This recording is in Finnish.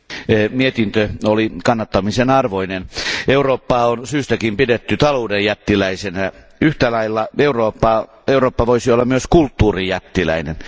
Arvoisa puhemies, mietintö oli kannattamisen arvoinen. Eurooppaa on syystäkin pidetty talouden jättiläisenä, yhtälailla Eurooppa voisi olla myös kulttuurin jättiläinen.